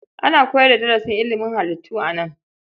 Ana koyar da darasin ilimin halittu a nan.